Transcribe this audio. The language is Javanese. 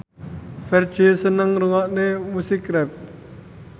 Ferdge seneng ngrungokne musik rap